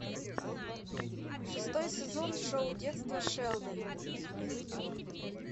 шестой сезон шоу детство шелдона